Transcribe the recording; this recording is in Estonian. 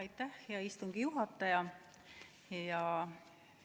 Aitäh, hea istungi juhataja!